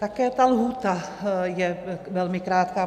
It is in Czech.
Také ta lhůta je velmi krátká.